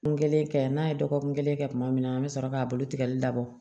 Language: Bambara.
N kelen kɛ n'a ye dɔgɔkun kelen kɛ kuma min na an bɛ sɔrɔ k'a bolo tigɛli labɔ